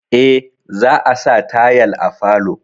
Eh, za a sa tayal à falo.